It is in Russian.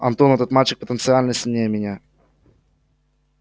антон этот мальчик потенциально сильнее меня